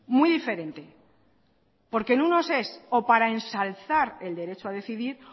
muy diferente porque en unos es o para ensalzar el derecho a decidir